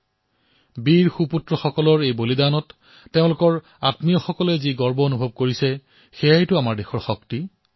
নিজৰ বীৰ সন্তানৰ বলিদানত তেওঁলোকৰ পৰিয়ালৰ মাজত গৰ্বৰ যি ভাৱনা প্ৰকট হৈছে সেয়াই হৈছে দেশৰ প্ৰকৃত শক্তি